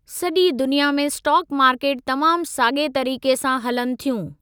सॼी दुनिया में स्टाक मार्केट तमामु साॻिए तरीक़े सां हलनि थियूं।